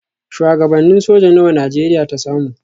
Shuwagabannin soja nawa Najeriya ta samu?